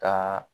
Ka